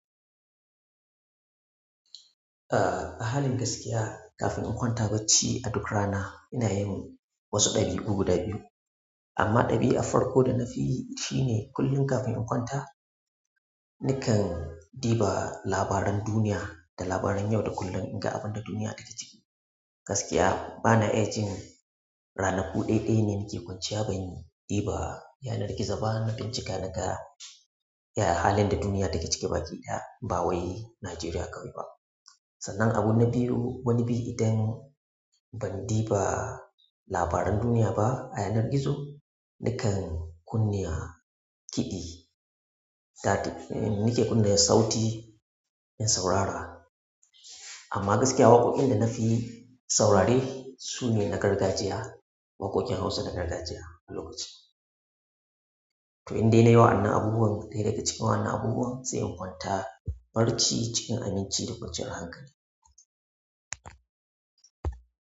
A, a halin gaskiya kafin in kwanta bacci a duk rana ina yin wasu ɗabi'u guda biyu. Amma ɗabi'a farko da na fi shine kullum kafin in kwanta nakan diba labaran duniya da labaran yau da kullum in ga abin da duniya take ciki. Gaskiya bana iya jin ranaku ɗaya ɗaya ne nake kwanciya banyi diba yanar gizo ba na bincika naga, ya halin da duniya take cike baki ɗaya bawai Najeriya kawai ba. Sannan abu na biyu wani bi idan ban diba labaran duniya ba a yanar gizo, nakan kunna kiɗi. Na, nake kunna sauti in saurara. Amma gaskiya waƙoƙin da na fi saurare su ne na gargajiya. Waƙoƙin Hausa na gargajiya a lokaci. To indai na yi wa'annan abubuwan dai daga cikin wa'annan abubuwan sai kwanta barci cikin aminci da kwanciyar hankali.